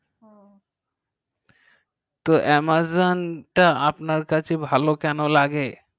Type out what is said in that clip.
তো amazon তা আপনার কাছে ভালো কেন লাগে